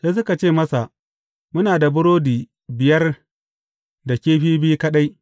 Sai suka ce masa, Muna da burodi biyar da kifi biyu kaɗai.